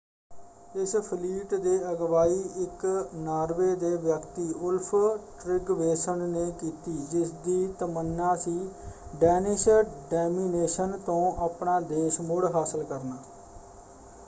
ਇਸ ਫਲੀਟ ਦੀ ਅਗਵਾਈ ਇੱਕ ਨਾਰਵੇ ਦੇ ਵਿਅਕਤੀ ਓਲਫ ਟ੍ਰਿਗਵੇਸਨ ਨੇ ਕੀਤੀ ਜਿਸਦੀ ਤਮੰਨਾ ਸੀ ਡੈਨਿਸ਼ ਡੌਮਿਨੇਸ਼ਨ ਤੋਂ ਆਪਣਾ ਦੇਸ਼ ਮੁੜ ਹਾਸਲ ਕਰਨਾ।